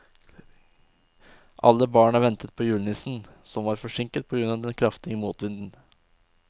Alle barna ventet på julenissen, som var forsinket på grunn av den kraftige motvinden.